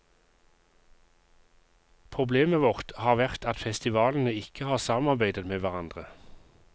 Problemet vårt har vært at festivalene ikke har samarbeidet med hverandre.